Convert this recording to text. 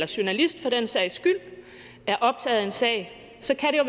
journalist for den sags skyld er optaget af en sag så kan jo